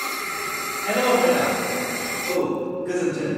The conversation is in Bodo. हेल', मेडाम! औ, गोजोनथों।